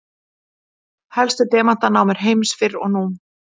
helstu demantanámur heims fyrr og nú